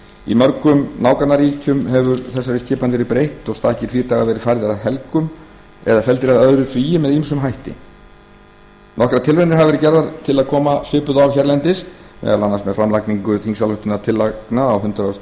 í mörgum nágrannaríkjum hefur þessari skipan verið breytt og stakir frídagar verið færðir að helgum eða felldir að öðru fríi með ýmsum hætti nokkrar tilraunir hafa verið gerðar til að koma svipuðu á hérlendis meðal annars með framlagningu þingsályktunartillagna á hundrað